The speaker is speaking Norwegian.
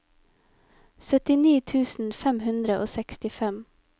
syttini tusen fem hundre og sekstifem